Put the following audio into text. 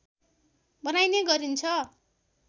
बनाइने गरिन्छ